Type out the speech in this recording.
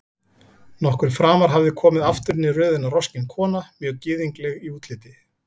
Nokkru framar hafði komið aftur inn í röðina roskin kona, mjög gyðingleg í útliti.